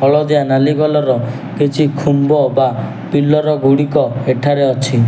ହଳଦିଆ ନାଲି କଲର୍ ର କିଛି ଖୁମ୍ବ ବା ପିଲର୍ ଗୁଡ଼ିକ ଏଠାରେ ଅଛି।